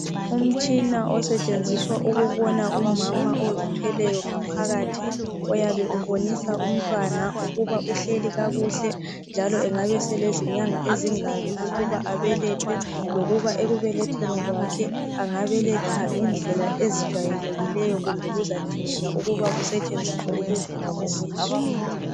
Umtshina osetshenziswa ukubona umama ozithweleyo ngaphakathi oyabe ubonisa umntwana ukuba uhleli kakuhle njalo engabe eselezinyanga ezingaki ukuba abelethwe lokuba ekubelethweni kwakhe angabeletha ngendlela ezijayelekileyo kumbe kuzadingeka kuba kusetshenziswe ukuvulwa kwesisu.